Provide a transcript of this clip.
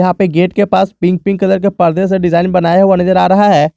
यहां पे गेट के पास पिंक पिंक कलर के पर्दे से डिजाइन बनाया हुआ नजर आ रहा है।